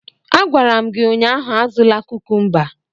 A gwara m gị ụnyaahụ, azụla kukumba!